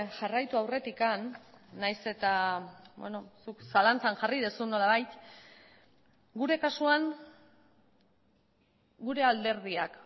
jarraitu aurretik nahiz eta zuk zalantzan jarri duzu nolabait gure kasuan gure alderdiak